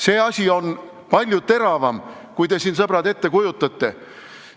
See asi on palju teravam, kui te siin, sõbrad, ette kujutate.